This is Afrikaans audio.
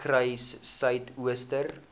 suiderkruissuidooster